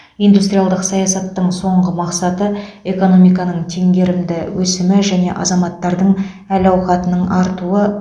индустриалдық саясаттың соңғы мақсаты экономиканың теңгерімді өсімі және азаматтардың әл ауқатының артуы